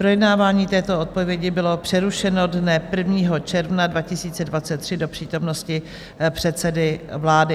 Projednávání této odpovědi bylo přerušeno dne 1. června 2023 do přítomnosti předsedy vlády.